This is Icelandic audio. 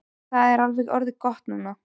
Og það er alveg orðið gott núna.